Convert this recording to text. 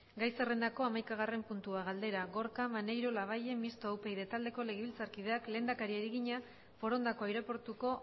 gai zerrendako hamaikagarren puntua galdera gorka maneiro labayen mistoa upyd taldeko legebiltzarkideak lehendakariari egina forondako aireportuko